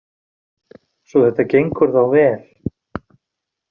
Svo þetta gengur þá vel?